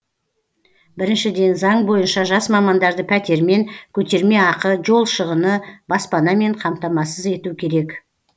біріншіден заң бойынша жас мамандарды пәтермен көтерме ақы жол шығыны баспанамен қамтамасыз ету керек